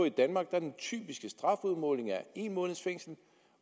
i danmark er den typiske strafudmåling en måneds fængsel